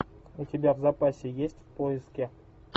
у тебя в запасе есть в поиске